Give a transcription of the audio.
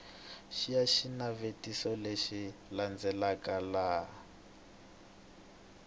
xiya xinavetiso lexi landzelaka laha